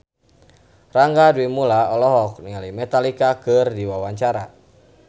Rangga Dewamoela olohok ningali Metallica keur diwawancara